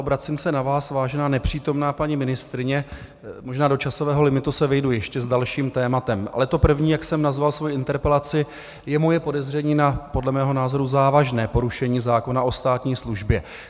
Obracím se na vás, vážená nepřítomná paní ministryně, možná do časového limitu se vejdu ještě s dalším tématem, ale to první, jak jsem nazval svoji interpelaci, je moje podezření na podle mého názoru závažné porušení zákona o státní službě.